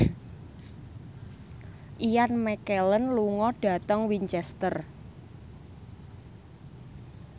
Ian McKellen lunga dhateng Winchester